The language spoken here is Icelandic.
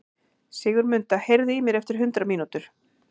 Sigurmunda, heyrðu í mér eftir hundrað mínútur.